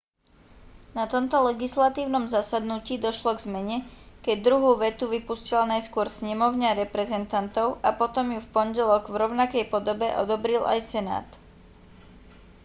na tomto legislatívnom zasadnutí došlo k zmene keď druhú vetu vypustila najskôr snemovňa reprezentantov a potom ju v pondelok v rovnakej podobe odobril aj senát